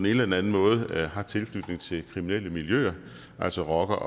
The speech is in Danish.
eller den anden måde har tilknytning til kriminelle miljøer altså rocker